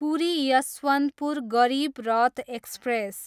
Puri, Yesvantpur Garib Rath express